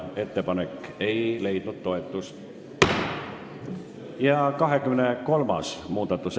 Ettepanek ei leidnud toetust ja eelnõu 520 teine lugemine on lõpetatud.